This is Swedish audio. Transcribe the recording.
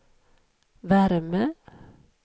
värme